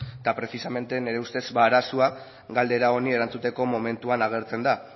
eta precisamente nire ustez ba arazoa galdera honi erantzuteko momentuan agertzen da